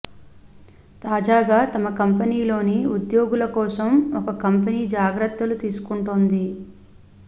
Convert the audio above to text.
తాజాగా తమ కంపెనీలోని ఉద్యోగుల కోసం ఒకకంపెనీ జాగ్రత్తలు తీసుకుంటోంది